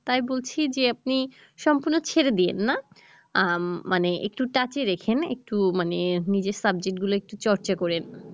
তাই বলছি যে আপনি সম্পূর্ণ ছেড়ে দিয়েন না আহ মানে একটু touch এ রেখেন একটু মানে নিজের subject গুলা একটু চর্চা কইরেন